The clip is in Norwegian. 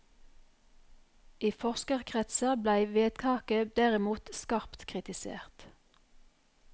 I forskerkretser blei vedtaket derimot skarpt kritisert.